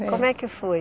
Como é que foi?